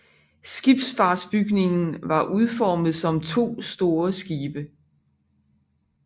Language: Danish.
Skibsfartsbygningen var udformet som 2 store skibe